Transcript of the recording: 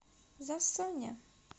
засоня